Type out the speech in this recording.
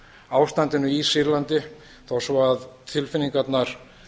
ástandinu í sýrlandi þó svo að tilfinningarnar